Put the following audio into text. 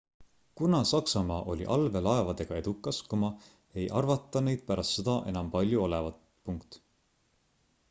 kuna saksamaa oli allveelaevadega edukas ei arvata neid pärast sõda enam palju olevat